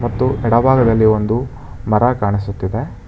ಮತ್ತು ಎಡ ಭಾಗದಲ್ಲಿ ಒಂದು ಮರ ಕಾಣಿಸುತ್ತಿದೆ.